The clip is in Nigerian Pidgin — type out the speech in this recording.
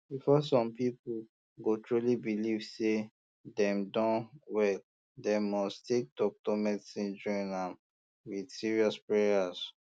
before some people um go truly believe say dem don um well dem must take doctor medicine join um am with serious prayers